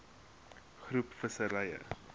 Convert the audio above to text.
groep visserye